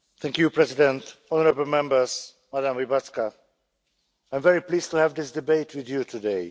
Mr President, honourable Members, Madam Łybacka, I'm very pleased to have this debate with you today.